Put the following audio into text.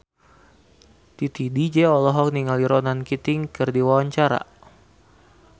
Titi DJ olohok ningali Ronan Keating keur diwawancara